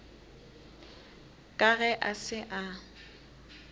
ka ge a se a